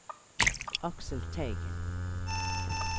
Aksel Teigen